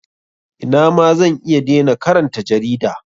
Ina ma zan iya dena karanta jarida.